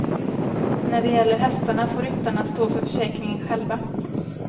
När det gäller hästarna får ryttarna stå för försäkringen själva.